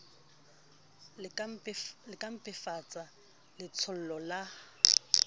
di ka mpefatsa letshollo la